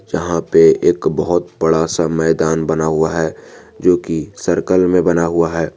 जहां पे एक बहोत बड़ा सा मैदान बना हुआ है जो की सर्कल में बना हुआ है।